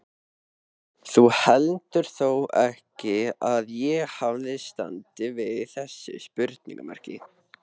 Þú heldur þó ekki, að ég hafi staðið fyrir þessu?